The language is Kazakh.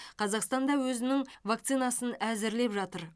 қазақстан да өзінің вакцинасын әзірлеп жатыр